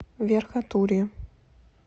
верхотурье